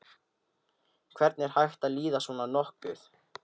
Hvernig er hægt að líða svona nokkuð?